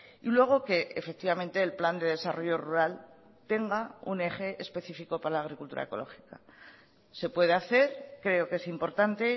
y luego que efectivamente el plan de desarrollo rural tenga un eje especifico para la agricultura ecológica se puede hacer creo que es importante